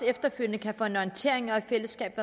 efterfølgende kan få en orientering og i fællesskab